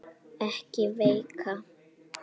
Sunna Karen: Ekki veikar?